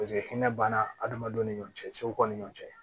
Paseke hinɛ banna adamadenw ni ɲɔgɔn cɛ segu ni ɲɔan cɛ